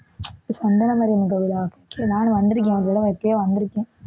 சந்தன மாரியம்மன் கோவிலா சரி நானும் வந்திருக்கேன் எப்பவோ வந்திருக்கேன்